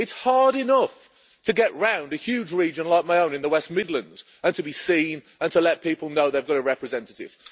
It is hard enough to get around a huge region like my own in the West Midlands and to be seen, and to let people know they have got a representative.